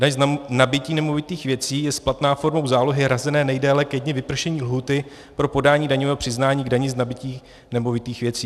Daň z nabytí nemovitých věcí je splatná formou zálohy hrazené nejdéle ke dni vypršení lhůty pro podání daňového přiznání k dani z nabytí nemovitých věcí.